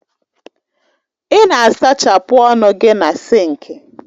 Ị na-asachapụ ọnụ gị na sinki